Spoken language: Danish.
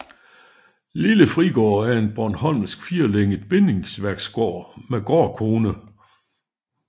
Lille Frigård er en bornholmsk firlænget bindingsværksgård med gårdkone